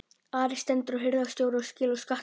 ARI STENDUR HIRÐSTJÓRA SKIL Á SKATTINUM